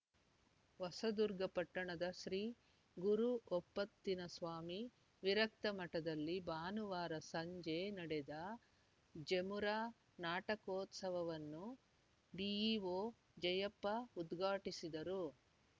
ಹೊಸದುರ್ಗ ಪಟ್ಟಣದ ಶ್ರೀ ಗುರುಓಪ್ಪತ್ತಿನಸ್ವಾಮಿ ವಿರಕ್ತ ಮಠದಲ್ಲಿ ಭಾನುವಾರ ಸಂಜೆ ನಡೆದ ಜಮುರಾ ನಾಟಕೋತ್ಸವವನ್ನು ಬಿಇಓ ಜಯಪ್ಪ ಉದ್ಘಾಟಿಸಿದರು